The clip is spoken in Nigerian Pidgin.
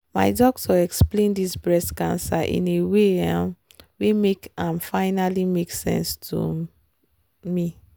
my doctor explained this breast cancer in a way um wen make am funally make sense to um me